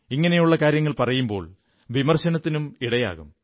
ഇങ്ങനെയുള്ള കാര്യങ്ങൾ പറയുമ്പോൾ വിമർശനത്തിനും ഇടയാകും